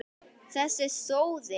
Þessi sóði!